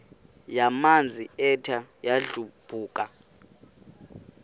yamanzi ethe yadlabhuka